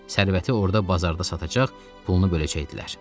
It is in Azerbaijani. Sərvəti orda bazarda satacaq, pulunu böləcəkdilər.